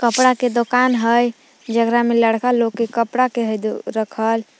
कपड़ा के दोकान हइ जेकरा में लड़का लोग के कपड़ा के हइ रखल।